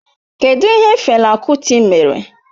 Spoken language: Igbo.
Kedụ ihe Fela Kuti mere?